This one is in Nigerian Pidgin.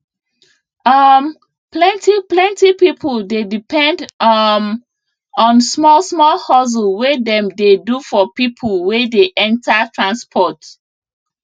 um plenti plenti people dey depend um on small small hustle wey dem dey do for people wey dey enter transport